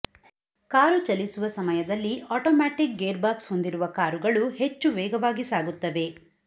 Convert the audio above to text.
car ಚಲಿಸುವ ಸಮಯದಲ್ಲಿ automatic gearbox ಹೊಂದಿರುವ ಕಾರುಗಳು ಹೆಚ್ಚು ವೇಗವಾಗಿ ಸಾಗುತ್ತವೆ